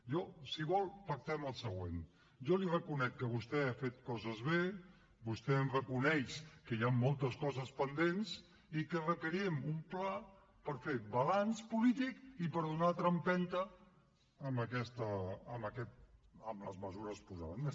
jo si vol pactem el següent jo li reconec que vostè ha fet coses bé vostè em reconeix que hi han moltes coses pendents i que requerim un ple per fer balanç polític i per donar una altra empenta a les mesures posades